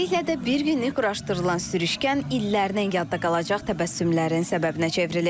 Beləliklə də bir günlük quraşdırılan sürüşkən illərlə yadda qalacaq təbəssümlərin səbəbinə çevrilib.